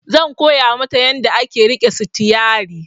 Zan koya mata yanda ake riƙe sitiyari